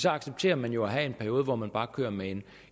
accepterer man jo at have en periode hvor man bare kører med